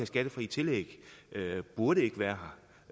skattefrie tillæg burde være